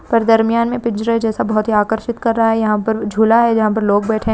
पर दरमियान मे पिंजरे जैसा बहुत ही आकर्षित कर रहा है यहा पर झूला है जहा पर लोग बैठे--